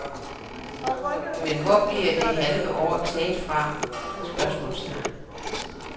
Men hvor bliver det halve år taget fra? spørgsmålstegn